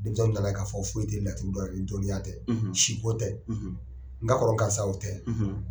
Denmisɛnw nana k'a fɔ foyi tɛ laturu dɔn ni dɔnniya tɛ siko tɛ n ka kɔrɔ karisa y'o tɛ